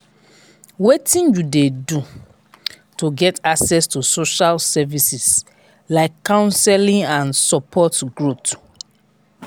wetin you dey do to get access to social services like counseling and support growth.